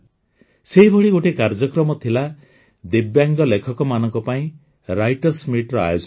ସେହିଭଳି ଗୋଟିଏ କାର୍ଯ୍ୟକ୍ରମ ଥିଲା ଦିବ୍ୟାଙ୍ଗ ଲେଖକମାନଙ୍କ ପାଇଁ writerଏସ୍ meetର ଆୟୋଜନ